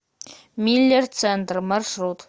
миллер центр маршрут